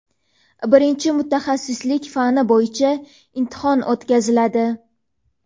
birinchi mutaxassislik fani bo‘yicha imtihon o‘tkaziladi;.